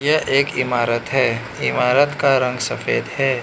यह एक इमारत है इमारत का रंग सफेद है।